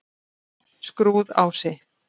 Skrúðási